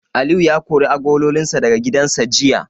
Aliyu ya kori agololinsa daga gidansa jiya.